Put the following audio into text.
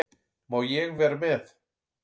Má ég vera með?